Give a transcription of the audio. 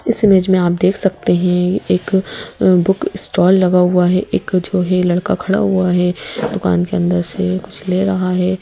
इस इमेज में आप देख सकते हैं एक बुक स्टॉल लगा हुआ है एक जो है लड़का खड़ा हुआ है दुकान के अंदर से कुछ ले रहा है।